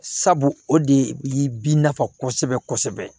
Sabu o de ye bin nafa kosɛbɛ kosɛbɛ